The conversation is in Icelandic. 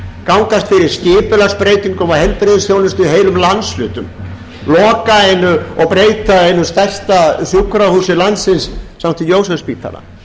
gangast fyrir skipulagsbreytingum á heilbrigðisþjónustu í heilum landshlutum loka og breyta eina stærsta sjúkrahúsi landsins st jósefsspítala